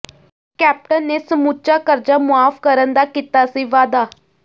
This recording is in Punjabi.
ਕੈਪਟਨ ਨੇ ਸਮੁੱਚਾ ਕਰਜ਼ਾ ਮੁਆਫ਼ ਕਰਨ ਦਾ ਕੀਤਾ ਸੀ ਵਾਅਦਾ